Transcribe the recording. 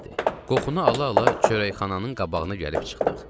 Qoxunu ala-ala çörəkxananın qabağına gəlib çıxdıq.